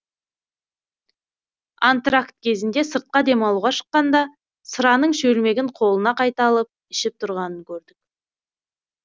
антракт кезінде сыртқа демалуға шыққанда сыраның шөлмегін қолына қайта алып ішіп тұрғанын көрдік